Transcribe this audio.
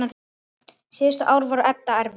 Síðustu ár voru Edda erfið.